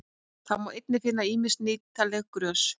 Þá má einnig finna ýmis nýtileg grös.